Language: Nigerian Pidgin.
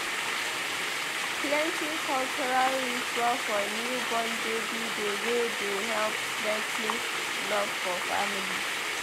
Plenty cultural ritual for newborn baby dey wey dey help strengthen love for family.